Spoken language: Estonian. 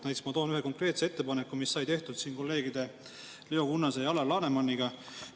Näiteks ma toon ühe konkreetse ettepaneku, mis sai tehtud kolleegide Leo Kunnase ja Alar Lanemaniga.